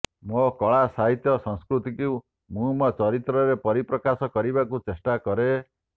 ମୋ କଳା ସାହିତ୍ୟ ସଂସ୍କୁତିକୁ ମୁଁ ମୋ ଚିତ୍ରରେ ପରିପ୍ରକାଶ କରିବାକୁ ଚେଷ୍ଟା କରେ